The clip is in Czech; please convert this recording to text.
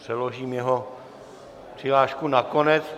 Přeložím jeho přihlášku na konec.